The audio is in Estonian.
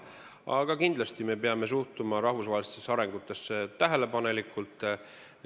Aga me kindlasti peame suhtuma rahvusvahelistesse arengutesse tähelepanelikult.